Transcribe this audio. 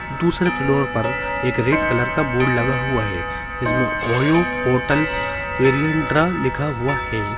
दूसरे फ्लोर पर एक रेड कलर का बोर्ड लगा हुआ है जिसमे ओयो होटल वेरिएन्टरा लिखा हुआ है।